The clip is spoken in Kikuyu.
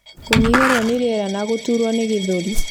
kũnyihĩrwo nĩ rĩera na gũtuurwo nĩ gĩthũri.